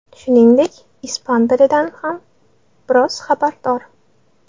Shuningdek, ispan tilidan ham biroz xabardor.